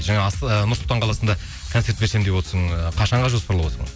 жаңа ы нұр сұлтан қаласында концерт берсем деп отырсың ы қашанға жоспарлап отырсың